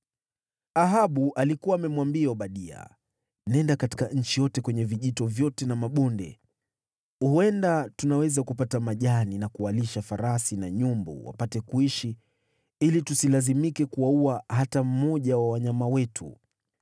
Ahabu alikuwa amemwambia Obadia, “Nenda katika nchi yote kwenye vijito vyote na mabonde. Huenda tunaweza kupata majani ya kuwalisha farasi na nyumbu wapate kuishi ili tusilazimike kuwaua hata mmoja wa wanyama wetu.”